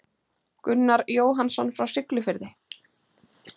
Gunnar Jóhannsson frá Siglufirði.